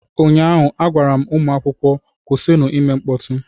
Ụnyaahụ, a gwara m ụmụ akwụkwọ, kwụsịnụ ime mkpọtụ!